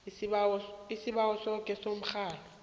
isibawo sakho somrholo